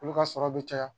Olu ka sɔrɔ bɛ caya